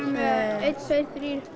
einn tveir þrír